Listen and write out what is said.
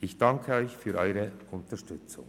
Ich danke Ihnen für die Unterstützung.